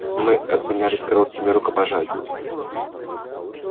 мы обменялись короткими рукопожатиями